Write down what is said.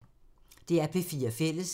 DR P4 Fælles